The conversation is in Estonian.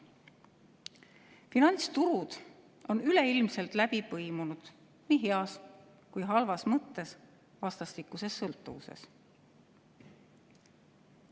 "Finantsturud on üleilmselt läbi põimunud, nii heas kui ka halvas mõttes vastastikuses sõltuvuses.